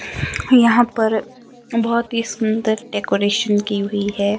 यहां पर बहोत ही सुंदर डेकोरेशन की हुई है।